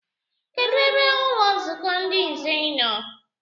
Kedụ ebe ụlọnzukọ ndị nze no?